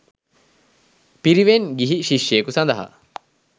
පිරිවෙන් ගිහි ශිෂ්‍යයකු සඳහා